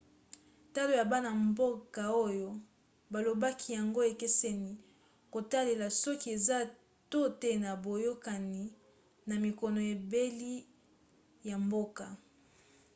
talo ya bana-mboka oyo balobaki yango ekeseni na kotalela soki eza to te na boyokani na minoko ebele ya mboka